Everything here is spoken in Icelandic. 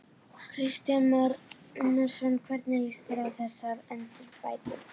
Kristján Már Unnarsson: Hvernig líst þér á þessar endurbætur?